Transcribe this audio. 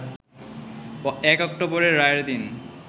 ১ October রায়ের দিন